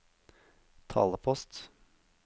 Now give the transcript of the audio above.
talepost